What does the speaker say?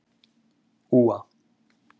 Úa